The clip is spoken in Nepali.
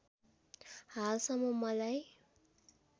हालसम्म मलाई